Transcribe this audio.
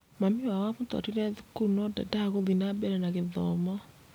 Mami wao amũtwarire thukuru no ndedaga gũthiĩ na mbere na gĩthomo